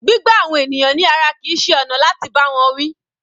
Gbígbá àwọn ènìyàn ní ara kìí ṣe ọ̀nà láti bá wọn wí.